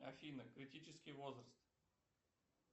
афина критический возраст